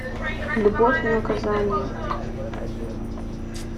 любовь и наказание